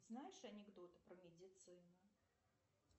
знаешь анекдоты про медицину